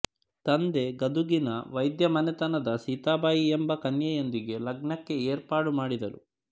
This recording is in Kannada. ತಂದೆ ಗದುಗಿನ ವೈದ್ಯ ಮನೆತನದ ಸೀತಾಬಾಯಿ ಯೆಂಬ ಕನ್ಯೆಯೊಂದಿಗೆ ಲಗ್ನಕ್ಕೆ ಏರ್ಪಾಡುಮಾಡಿದರು